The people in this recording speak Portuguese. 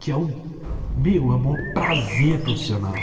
que é um viu é prazer profissional.